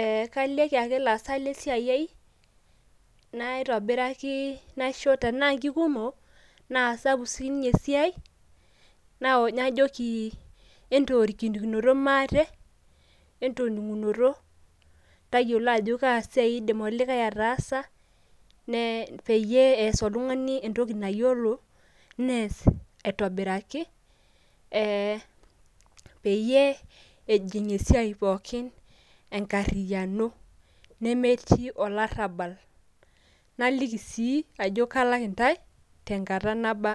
ee kalieki ake ilaasak le siai ai naitobiraki nasho tenaa kikumok naa sapuk sinye esiai najoki entorikriknoto maate .entoningunoto ,tayiolo ajo kaa siai indim olikae ataasa ne peyie eeas oltungani entoki nayiolo nes aitobiraki ee peyie ejing esiai pookin enkariano nemetii olarabal .naliki sii ajo kalak intae tenkata naba